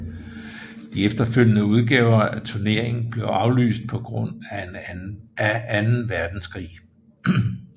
De efterfølgende udgaver af turneringen blev aflyst på grund af anden verdenskrig